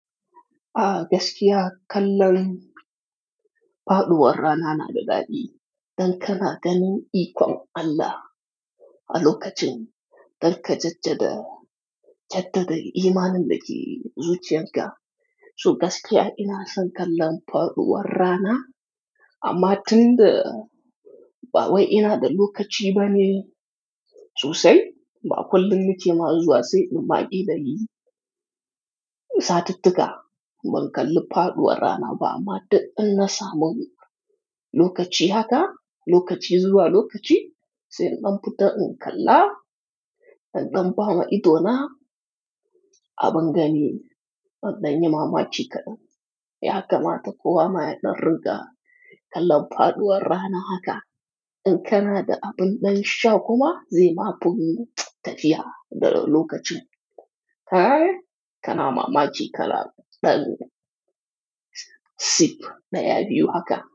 A gasikiya kallan faduwarraanaa na dada'i. Dan kana ganu ikon allah Alookachiin dan kajajjada jeddade iimaanin dake zuchiyarka So gasikiya inaa san kallan faduwar warrana, amma tunda ba wayai ina da lokachi bane Sosai ba kullin nake mazuwa sai inm baliin. Satiittika ban kalli faduwar warraanaa ba 'ama duk inna samu. Lookachi haka lookachi zuwaa lookachi sai in dan fita inkalla, indan bawa idona abingani Ban dayi mamaki kadan Yaaka maata kowama ya dan ringa kallan faduwar warraana haka. In kanaa da aban dan isha kuma zai ma bun gajiya da lokachi Tayi kana maamaki kalaa sip daya biyu haka.